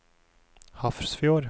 Hafrsfjord